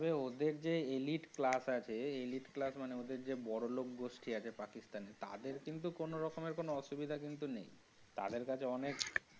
ওদের যে elite class আছে elite class মানে ওদের যে বড়লোক গোষ্ঠী আছে পাকিস্তান এ তাদের কিন্তু কোনো রকমের কোনো অসুবিধা কিন্তু নেই, তাদের কাছে অনেক।